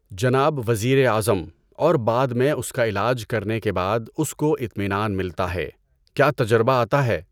جناب وزیر اعظم، اور بعد میں اس کا علاج کرنے کے بعد اس کو اطمینان ملتا ہے، کیا تجربہ آتا ہے؟